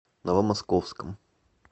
новомосковском